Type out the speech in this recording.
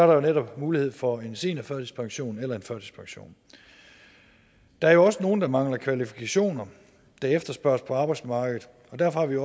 jo netop mulighed for en seniorførtidspension eller en førtidspension der er også nogle der mangler de kvalifikationer der efterspørges på arbejdsmarkedet og derfor har vi